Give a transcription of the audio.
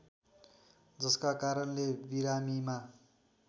जसका कारणले बिरामीमा